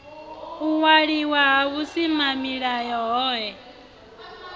u waliwa ha vhusimamilayo hohe